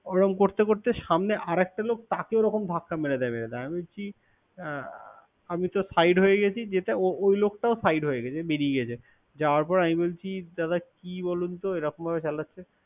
ওরম করতে করতে সামনে আর একটা লোক। তাকে ওরকম ধাক্কা মেরে দেবে। তা আমি বলছি অ আমি তো side হয়ে গেছি। যেটা ওই লোকটাও side হয়ে গেছে, বেরিয়ে গেছে। দাদা কি বলুন এরকম করে চালাচ্ছে।